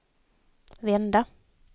vända